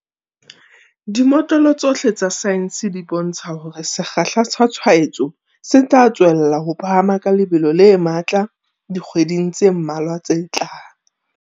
Dimotlolo tsohle tsa saense di bontsha hore sekgahla sa tshwaetso se tla tswella ho phahama ka lebelo le ka matla dikgweding tse mmalwa tse tlang.